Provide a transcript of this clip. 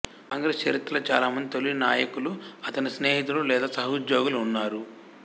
కాంగ్రెస్ చరిత్రలో చాలా మంది తొలి నాయకులు అతని స్నేహితులు లేదా సహోద్యోగులు ఉన్నారు